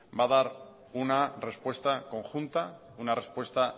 va a dar una respuesta conjunta una respuesta